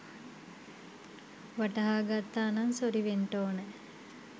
වටහා ගත්තානං සොරි වෙන්ටෝනැ